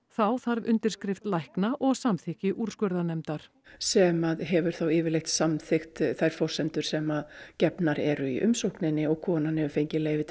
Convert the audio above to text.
þá þarf undirskrift lækna og samþykki úrskurðarnefndar sem að hefur þá yfirleitt samþykkt þær forsendur sem gefnar eru í umsókninni og konan hefur fengið leyfi